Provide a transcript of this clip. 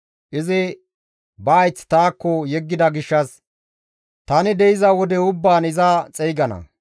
Izi ba hayth taakko yeggida gishshas tani de7iza wode ubbaan iza xeygana.